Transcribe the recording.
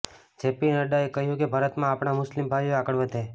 JP નડ્ડાએ કહ્યું કે ભારતમાં આપણા મુસ્લિમ ભાઇઓ આગળ વધે